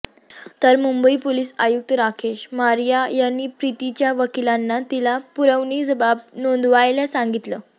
तर मुंबई पोलीस आयुक्त राकेश मारिया यांनी प्रीतीच्या वकिलांना तिला पुरवणी जबाब नोंदवायला सांगितलं